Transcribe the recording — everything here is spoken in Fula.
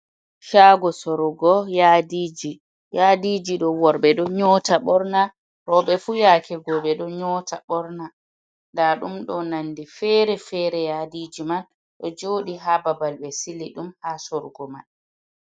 Shago sorugo yadiji. Yadiji ɗo worɓe ɗo nyota ɓorna, roɓe fu yake go ɓe ɗo nyota ɓorna. Nda ɗum ɗo nonde fere-fere. Yadiji man ɗo joɗi ha babal ɓe sili ɗum ha sorugo man.